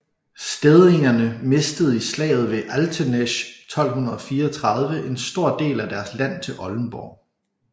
Stedingerne mistede i slaget ved Altenesch 1234 en stor del af deres land til Oldenborg